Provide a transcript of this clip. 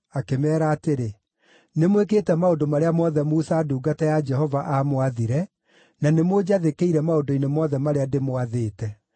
akĩmeera atĩrĩ, “Nĩmwĩkĩte maũndũ marĩa mothe Musa ndungata ya Jehova aamwathire, na nĩmũnjathĩkĩire maũndũ-inĩ mothe marĩa ndĩmwathĩte.